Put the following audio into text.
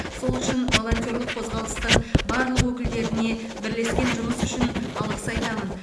сол үшін волонтерлік қозғалыстың барлық өкілдеріне бірлескен жұмыс үшін алғыс айтамын